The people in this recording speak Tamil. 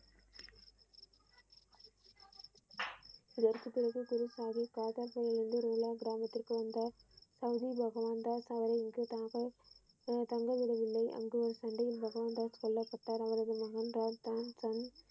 இந்த இந்த இடத்திலிருந்து குரு சாகிப் ஆதார் இடத்தில் இருந்து ரோலர் கிராமத்திற்கு வந்தார் சவுதி பகவான் தாஸ் அவருக்கு எதிராக தங்க விடவில்லை அங்கு சண்டையல் பகவான் தாஸ் கொல்லப்பட்டார